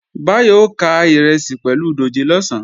Báyọ̀ ó ká ìrẹsì pẹ̀lú dòjé lọ̀sán